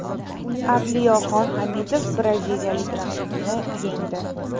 Avliyoxon Hamidov braziliyalik raqibini yengdi.